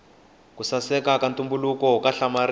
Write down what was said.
ku saseka ka ntumbuluko ka hlamarisa